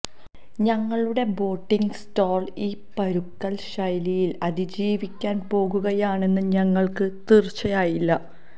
ഞങ്ങളുടെ boating store ഈ പരുക്കൻ ശൈലിയിൽ അതിജീവിക്കാൻ പോകുകയാണെന്ന് ഞങ്ങൾക്ക് തീർച്ചയില്ല